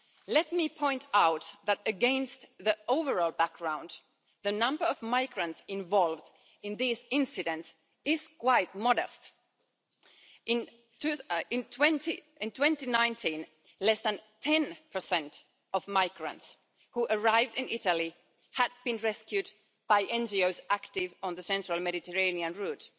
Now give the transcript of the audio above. Let me point out that against the overall background, the number of migrants involved in these incidents is quite modest. In 2019, less than 10 of migrants who arrived in Italy had been rescued by NGOs active on the central Mediterranean route.